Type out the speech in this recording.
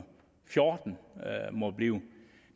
fjorten må det blive